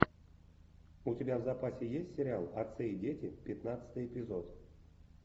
у тебя в запасе есть сериал отцы и дети пятнадцатый эпизод